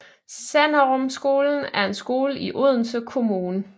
Sanderumskolen er en skole i Odense Kommune